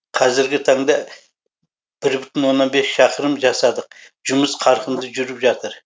қазіргі таңда бір бүтін оннан бес шақырым жасадық жұмыс қарқынды жүріп жатыр